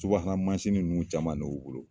subahana mansin ninnu caman de ye u bolo